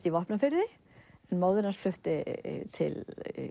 í Vopnafirði en móðir hans flutti til